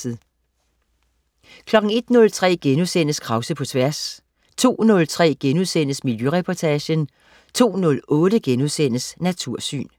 01.03 Krause på Tværs* 02.03 Miljøreportagen* 02.08 Natursyn*